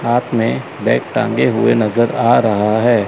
हाथ में बैग टांगे हुए नजर आ रहा है।